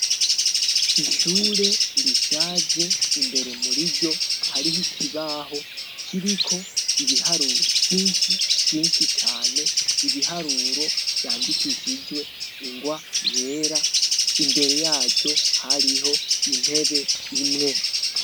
Ishure rishaje imbere muriryo hariho ikibaho kiriko ibiharuro vyinshi vyinshi cane ibiharuro vyandikishijwe ingwa yera imbere yaco hariho intebe imwe.